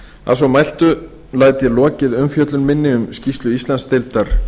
að svo mælti læt ég lokið umfjöllun minni um skýrslu íslandsdeildar